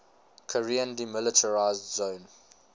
korean demilitarized zone